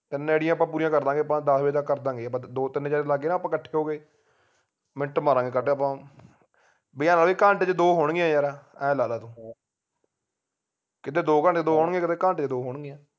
ਤਿੰਨ ਅੜੀਏ ਆਪਾ ਪੂਰੀਆਂ ਕਰਦਾਂਗੇ ਆਪਾ ਦੱਸ ਵਜੇ ਤਕ ਕਾਰਦਾਂਗੇ ਆਪਾ ਦੋ ਤਿੰਨ ਜਣੇ ਲੱਗ ਕੇ ਨਾ ਆਪਾ ਇਕੱਠੇ ਹੋਕੇ minute ਮਾਰਾਂਗੇ ਆਪਾ ਬਈ ਘੰਟੇ ਵਿਚ ਦੋ ਹੋਣਗੀਆਂ ਯਾਰ ਐ ਲਾ ਲਾ ਤੂੰ ਕਿਥੇ ਦੋ ਘੰਟੇ ਚ ਦੋ ਹੋਣਗੀਆਂ ਕਿਥੇ ਘੰਟੇ ਚ ਦੋ ਹੋਣਗੀਆਂ